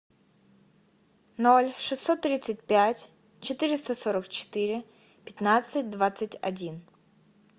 ноль шестьсот тридцать пять четыреста сорок четыре пятнадцать двадцать один